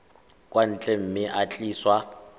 kwa ntle mme e tliswa